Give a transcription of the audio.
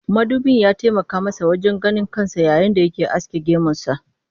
Mudubin ya taimaka masa wajen ganin kansa yayin da yake aske gemunsa